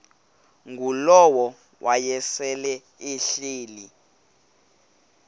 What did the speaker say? ngulowo wayesel ehleli